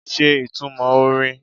Ṣe ìtumọ̀ orin?